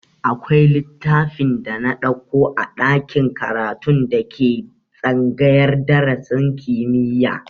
Akwai littafin da na ɗauko a ɗakin karatun da ke tsangayar darasin kimiyya